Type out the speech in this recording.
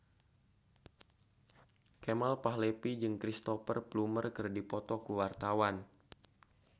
Kemal Palevi jeung Cristhoper Plumer keur dipoto ku wartawan